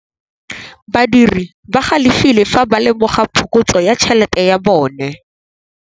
Badiri ba galefile fa ba lemoga phokotsô ya tšhelête ya bone.